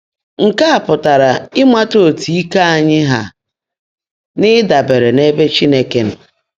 Nkè á pụ́tárá ị́mátá ótú íke ányị́ há nà ị́dàbèèré n’ébè Chínekè nọ́.